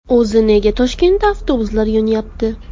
O‘zi nega Toshkentda avtobuslar yonyapti?